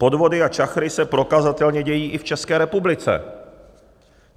Podvody a čachry se prokazatelně dějí i v České republice.